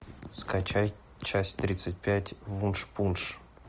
скачай часть тридцать пять вуншпунш